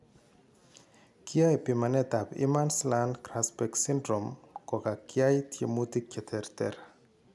Kiyoe pimanetab Imerslund Grasbeck syndrome kokakwyai tyemutik cheterter